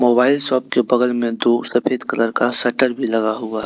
mobile shop के बगल में दो सफेद कलर का शटर भी लगा हुआ--